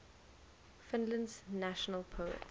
finland's national poet